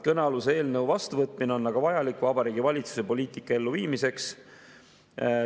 Kõnealuse eelnõu vastuvõtmine on aga vajalik Vabariigi Valitsuse poliitika elluviimiseks.